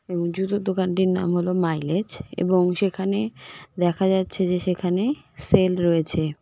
এবং জুতোর দোকানটির নাম হলো মাইলেজ এবং সেখানে দেখা যাচ্ছে যে সেখানে সেল রয়েছে।